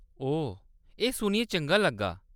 ओह्‌‌, एह्‌‌ सुनियै चंगा लग्गा।